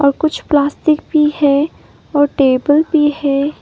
कुछ प्लास्टिक भी है और टेबल भी है।